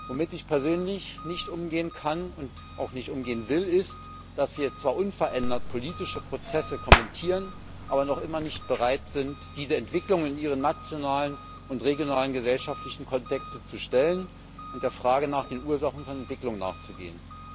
Womit ich persönlich nicht umgehen kann und auch nicht umgehen will, ist, dass wir zwar unverändert politische Prozesse kommentieren, aber noch immer nicht bereit sind, diese Entwicklung in ihren nationalen und regionalen gesellschaftlichen Kontext zu stellen und der Frage nach den Ursachen von Entwicklungen nachzugehen.